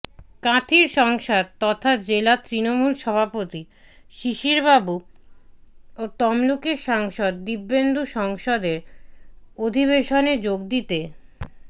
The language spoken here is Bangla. কাঁথির সাংসদ তথা জেলা তৃণমূল সভাপতি শিশিরবাবু ও তমলুকের সাংসদ দিব্যেন্দু সংসদের অধিবেশনে যোগ দিতে